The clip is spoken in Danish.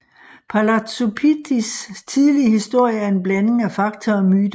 Palazzo Pittis tidlige historie er en blanding af fakta og myter